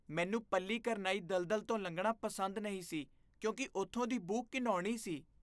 ਮੈਨੂੰ ਪੱਲੀਕਰਨਾਈ ਦਲਦਲ ਤੋਂ ਲੰਘਣਾ ਪਸੰਦ ਨਹੀਂ ਸੀ ਕਿਉਂਕਿ ਉੱਥੋਂ ਦੀ ਬੂ ਘਿਣਾਉਣੀ ਸੀ।